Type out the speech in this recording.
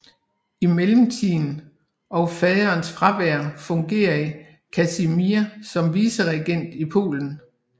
I mellemtiden og faderens fravær fungerede Kasimir som viceregent i Polen